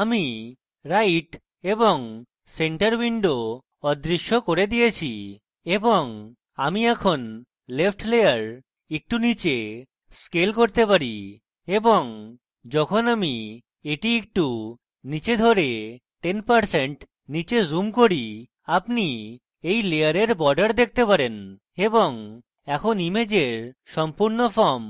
আমি right এবং central window অদৃশ্য করে দিয়েছি এবং আমি এখন left layer একটু নীচে scale করতে চাই এবং যখন আমি এটি একটু নীচে ধরুন 10% নীচে zoom করি আপনি এই layers borders দেখতে পারেন এবং এখন ইমেজের সম্পূর্ণ frame